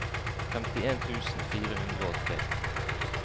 femtien tusen fire hundre og tre